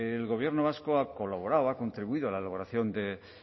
el gobierno vasco ha colaborado ha contribuido a la elaboración de